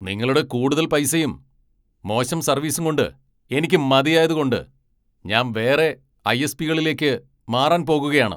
നിങ്ങളുടെ കൂടുതൽ പൈസയും ,മോശം സർവീസും കൊണ്ട് എനിക്ക് മതിയായതുകൊണ്ട് ഞാൻ വേറെ ഐ.എസ്.പി.കളിലെക്ക് മാറാൻ പോകുകയാണ്.